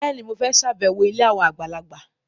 Bẹ́ẹ̀ni, mo fẹ́ ṣàbẹ̀wọ̀ ilé àwọn àgbàlagbà